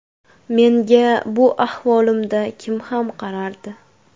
Menga bu ahvolimda kim ham qarardi”.